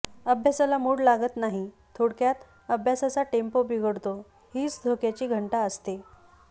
अभ्यासाला मूड लागत नाही थोडक्यात अभ्यासाचा टेम्पो बिघडतो हीच धोक्याची घंटा असते